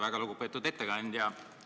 Väga lugupeetud ettekandja!